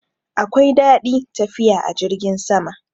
Akwai dadi tafiya a jirgin sama.